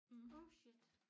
Oh shit